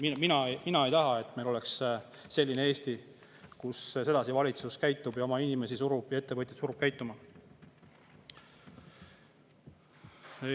No ma ei tea, mina ei taha, et meil oleks selline Eesti, kus valitsus sedasi käitub ning surub oma inimesi ja ettevõtteid käituma.